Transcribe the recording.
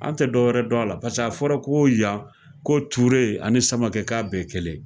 An tɛ dɔw wɛrɛ dɔn a la paseke a fɔra yan ko Ture ani Samakɛ k'a bɛɛ ye kelen yen